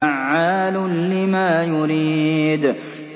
فَعَّالٌ لِّمَا يُرِيدُ